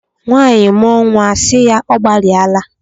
Nwaanyị mụọ nwa a asị ya "ọ gbalịa la".